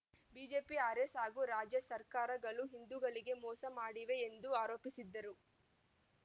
BJP RS ಹಾಗೂ ರಾಜ್ಯ ಸರ್ಕಾರಗಳು ಹಿಂದೂಗಳಿಗೆ ಮೋಸ ಮಾಡಿವೆ ಎಂದು ಆರೋಪಿಸಿದ್ದರು